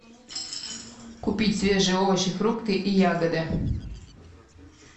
купить свежие овощи фрукты и ягоды